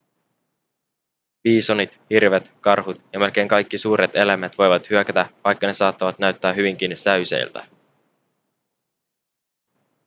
biisonit hirvet karhut ja melkein kaikki suuret eläimet voivat hyökätä vaikka ne saattavat näyttää hyvinkin säyseiltä